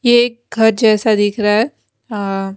ये एक घर जैसा दिख रहा है आ--